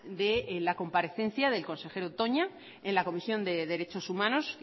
de la comparecencia del consejero toña en la comisión de derechos humanos